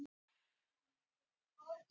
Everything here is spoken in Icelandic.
Forsetinn horfir hugfanginn á Auði.